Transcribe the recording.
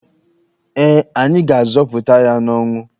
Ee, anyị ga-azọpụta ya n'ọnwụ.